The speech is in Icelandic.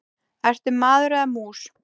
Ertu maður eða mús?